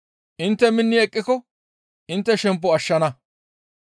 Intte minni eqqiko intte shempo ashshana.